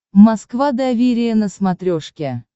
москва доверие на смотрешке